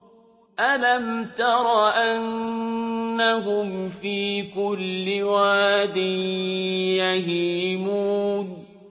أَلَمْ تَرَ أَنَّهُمْ فِي كُلِّ وَادٍ يَهِيمُونَ